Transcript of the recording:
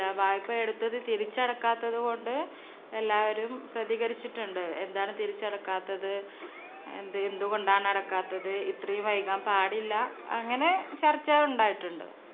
ല്ല വായ്‌പ എടുത്തത് തിരിച്ചടക്കാത്തതുകൊണ്ട് എല്ലാവരും പ്രതികരിച്ചിട്ടുണ്ട്. എന്താണ് തിരിച്ചടക്കാത്തത്? എന്ത് എന്തുകൊണ്ടാണ് അടക്കാത്തത്? ഇത്രയും വൈകാൻ പാടില്ല അങ്ങനെ ചർച്ച ഉണ്ടായിട്ടുണ്ട്.